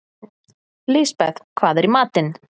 Lisbeth, hvað er í matinn?